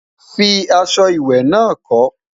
fí aṣọ ìwé nà kò